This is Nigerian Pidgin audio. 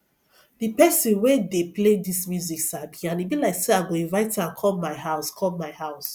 the person wey dey play dis music sabi and e be like say i go invite am come my house come my house